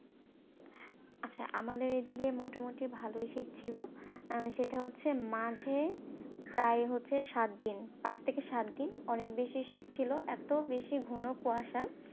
আচ্ছা আমাদের এইদিকে মোটামুটি ভালোই শীত ছিল, সেটা হচ্ছে মাঝে প্রায় হচ্ছে সাতদিন, পাঁচ থেকে সাতদিন অনেক বেশি শীত ছিল, এত বেশি ঘন কুয়াশা